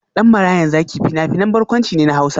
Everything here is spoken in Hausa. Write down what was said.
Dan Marayan Zaki fina-finan barkwanci ne na Hausa.